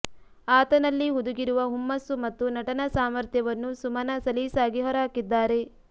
ಆತನಲ್ಲಿ ಹುದುಗಿರುವ ಹುಮ್ಮಸ್ಸು ಮತ್ತು ನಟನಾ ಸಾಮರ್ಥ್ಯವನ್ನು ಸುಮನಾ ಸಲೀಸಾಗಿ ಹೊರಹಾಕಿದ್ದಾರೆ